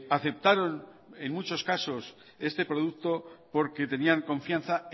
aceptaron en muchos casos este producto porque tenían confianza